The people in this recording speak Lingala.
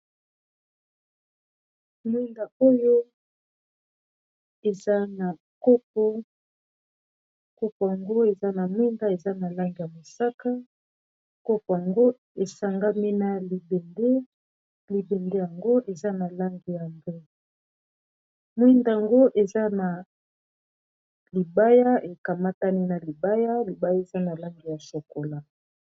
Mwinda oyo eza na copo ango eza na mwinda eza na lange ya mosaka copo ango esangami na libende libende yango eza na lange ya mbe mwinda yango eza na libaya ekamatani na libaya libaya eza na lange ya chokola.